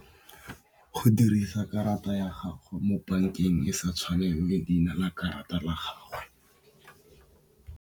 Go dirisa karata ya gago mo bankeng e sa tshwaneng le leina la karata ya gagwe.